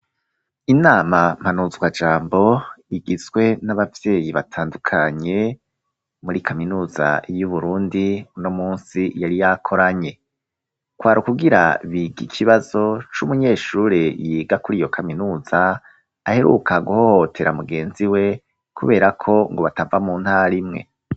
Inama mpanuzwajambo igizwe n'abavyeyi batandukanye muri kaminuza yu Burundi uno munsi yari yakoranye kwari ukugira bige ikibazo c'umunyeshure yiga kuri iyo kaminuza aheruka guhohotera mugenzi we kubera ko ngo batava mu ntara imwe.